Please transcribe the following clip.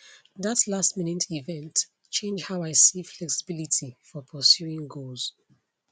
that lastminute event change how i see flexibility for pursuing goals